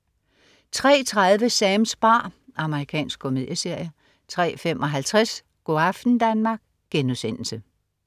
03.30 Sams bar. Amerikansk komedieserie 03.55 Go' aften Danmark*